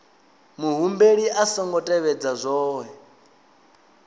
muhumbeli a songo tevhedza zwohe